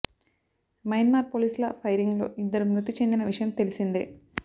Myanmar పోలీసుల firing లో ఇద్దరు మృతి చెందిన విషయం తెలిసిందే